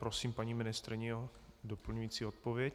Prosím paní ministryni o doplňující odpověď.